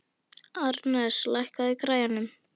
Arnes, lækkaðu í græjunum.